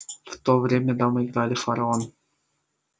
в то время дамы играли в фараон